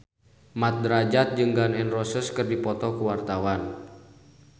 Mat Drajat jeung Gun N Roses keur dipoto ku wartawan